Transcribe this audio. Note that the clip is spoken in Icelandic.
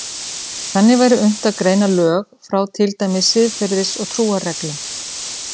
Þannig væri unnt að greina lög frá til dæmis siðferðis- og trúarreglum.